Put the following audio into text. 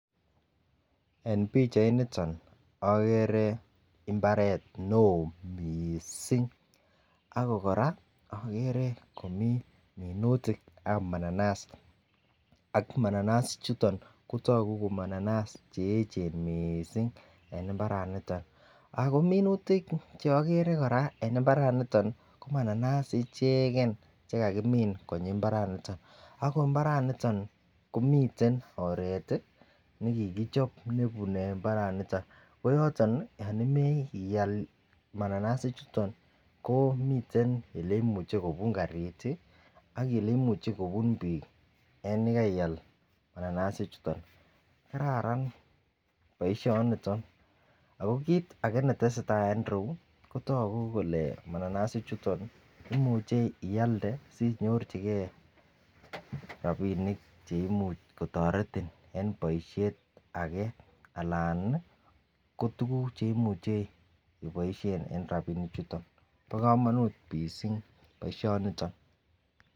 En pichainiton okere imbaret neo missing ako koraa okere komii minutikab mananas, ako mananas ichuton kotoku ko mananas cheyechen missing en imbaraniton ako minutik cheokere Koraa en imbaraniton nko mananas icheken chekakimin konyin imbaraniton. Ako imbaraniton komiten oret tii nekikichobe nebune imbaraniton ko yoton nii yon imoche ial mananas ichuton komiten oleimuche kobut karit tii ak ele imuche kobun bik en yekaial mananas ichuton kararan boishoniton. Ako kit age netesetai en iroyuu ko toku kole mananas ichuton imuche ialde sinyorchigee rabinik cheimuch kotoretin en boishet age alan niii ko tukuk cheimuche iboishen en rabinik chuton. Bo komonut missing boishoniton.